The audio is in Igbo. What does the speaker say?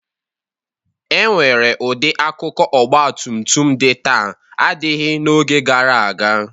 E nwere ụdị akụkụ ọgbatutum dị taa adịghị n'oge gara aga.